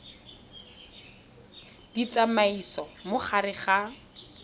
di tsamaisa mo gare ga